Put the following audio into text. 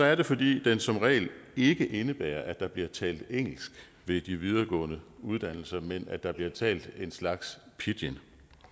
er det fordi den som regel ikke indebærer at der bliver talt engelsk ved de videregående uddannelser men at der bliver talt en slags pidgin